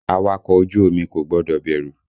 Awakọ̀ ojú omi kò gbọ́dọ̀ bẹ̀rù!